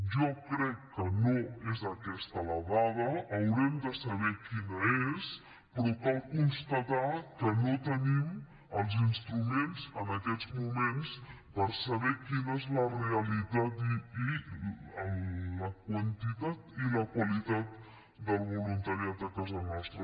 jo crec que no és aquesta la dada haurem de saber quina és però cal constatar que no tenim els instruments en aquests moments per saber quina és la realitat i la quantitat i la qualitat del voluntariat a casa nostra